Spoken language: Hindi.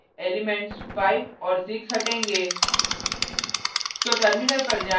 हमारे केस में एलिमेंट्स 5 और 6 हटेगा